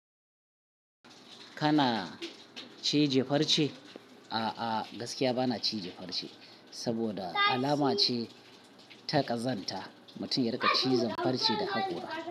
Kana cije farce? A'a, gaskiya ba na cije farce saboda alama ce ta ƙazanta. Mutum ya riƙa cizon farce da haƙora.